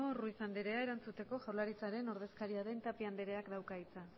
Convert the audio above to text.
ruiz andrea erantzuteko jaurlaritzaren ordezkaria den tapia andereak dauka hitza